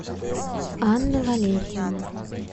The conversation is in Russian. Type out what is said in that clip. анна валерьевна